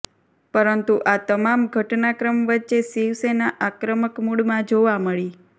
પરંતુ આ તમામ ઘટનાક્રમ વચ્ચે શિવસેના આક્રમક મૂડમાં જોવા મળી